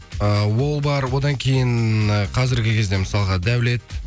э ол бар одан кейін қазіргі кезде мысалға даулет